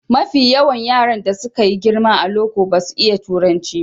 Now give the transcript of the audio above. Mafi yawan yaran da suka yi girma a loko basu iya turanci ba.